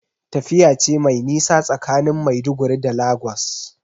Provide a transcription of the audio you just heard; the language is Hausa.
Tafiya ce mai nisa tsakanin Maiduguri da Lagos.